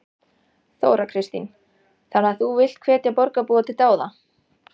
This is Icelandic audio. Þóra Kristín: Þannig að þú villt hvetja borgarbúa til dáða?